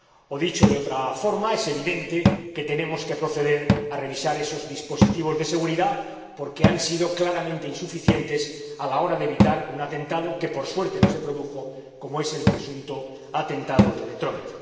O, dicho de otra forma, es evidente que tenemos que proceder a revisar esos dispositivos de seguridad porque han sido claramente insuficientes a la hora de evitar un atentado que, por suerte, no se produjo, como es el presunto atentado de Detroit.